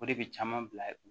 O de bɛ caman bila